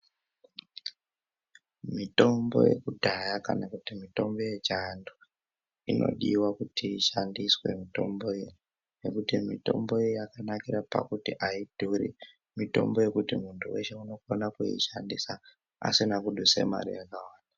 Mitombo yekudhaya kana kuti mitombo yechivantu inodiwa kuti ishandiswe mitomboyo ngekuti mitombo iyi yakanakire pakuti aidhuri mitombo yekuti muntu weshe unokona kuishandisa asina kuduse mare yakawanda.